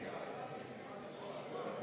Head kolleegid!